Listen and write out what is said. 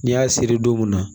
N'i y'a seri don mun na